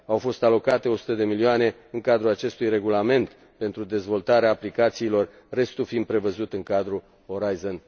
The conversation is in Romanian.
Au fost alocate 100 de milioane în cadrul acestui regulament pentru dezvoltarea aplicațiilor, restul fiind prevăzut în cadrul Horizon